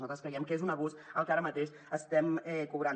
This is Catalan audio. nosaltres creiem que és un abús el que ara mateix estem cobrant